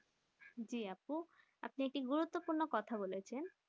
জি আপু আপনি একটি গুরুত্বপূর্ণ কথা বলেছেন